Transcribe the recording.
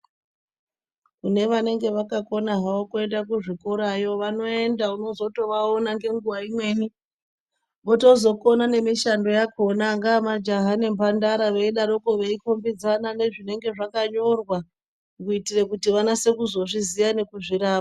Kune vanenge vakakona havo kuende kuzvikora vanoenda vozotovaona nenguva imweni. Votozoona nemishando yakona angaa majaha nemhandara veidaroko veikombidzana nezvinenge zvakanyorwa. Kuitira kuti vanase kuzozviziya nekuzvirapa.